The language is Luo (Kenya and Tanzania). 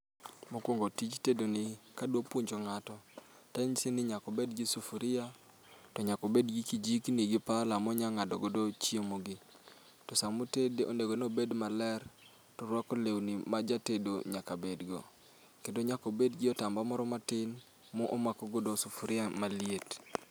Mokwongo tij tedoni kadwa puonjo ng'ato, tanyise ni nyak obed gi sufuria, to nyak obed gi kijikni gi pala monya ng'ado godo chiemo gi. To samo otede obed maler torwako lewni ma jatedo nyaka bedgo. Kendo nyak obed gi otamba moro matin mo omako godo sufuria maliet